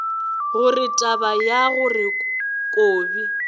gore taba ya gore kobi